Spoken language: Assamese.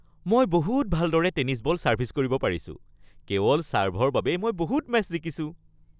মই বহুত ভালদৰে টেনিছ বল ছাৰ্ভিচ কৰিব পাৰিছোঁ। কেৱল ছাৰ্ভৰ বাবেই মই বহুত মেচ জিকিছো।